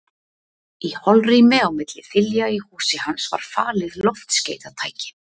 Í holrými á milli þilja í húsi hans var falið loftskeytatæki.